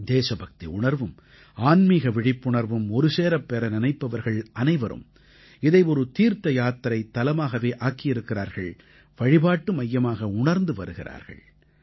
தேசபக்தி உணர்வும் ஆன்மீக விழிப்புணர்வும் ஒருசேரப் பெற நினைப்பவர்கள் அனைவரும் இதை ஒரு தீர்த்த யாத்திரைத்தலமாகவே ஆக்கியிருக்கிறார்கள் வழிபாட்டு மையமாக உணர்ந்து வருகிறார்கள்